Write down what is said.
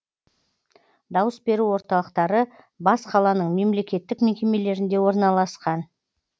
дауыс беру орталықтары бас қаланың мемлекеттік мекемелерінде орналасқан